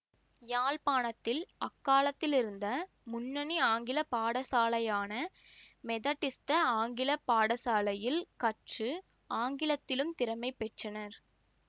யாழ்ப்பாணத்தில் அக்காலத்திலிருந்த முன்னணி ஆங்கில பாடசாலையான மெதடிஸ்த ஆங்கில பாடசாலையில் கற்று ஆங்கிலத்திலும் திறமை பெற்றனர்